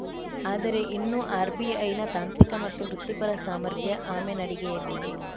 ಆದರೆ ಇನ್ನೂ ಆರ್‌ಬಿಐನ ತಾಂತ್ರಿಕ ಮತ್ತು ವೃತ್ತಿಪರ ಸಾಮರ್ಥ್ಯ ಆಮೆ ನಡಿಗೆಯಲ್ಲಿದೆ